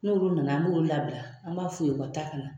N'olu nana an b'olu labila . An b'a f'u ye u ka taa ka na.